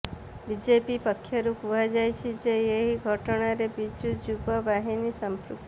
BJP ପକ୍ଷରୁ କୁହାଯାଇଛି ଯେ ଏହି ଘଟଣାରେ ବିଜୁ ଯୁବ ବାହିନୀ ସମ୍ପୃକ୍ତ